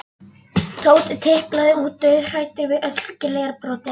Tóti tiplaði út, dauðhræddur við öll glerbrotin.